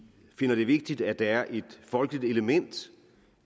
finder det vigtigt at der er et folkeligt element